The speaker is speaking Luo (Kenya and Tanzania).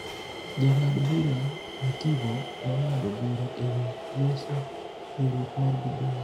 Jang'ad bura Mativo nong'ado bura ewi loso riwruok mar BBI.